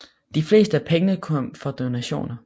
De fleste af pengene kom fra donationer